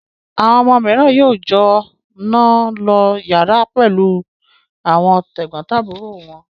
Àwọn ọmọ mìíràn yóò jọ náà lo ìyàrá pẹ̀lú àwọn tẹ̀gbọ́ntàbúrò wọn.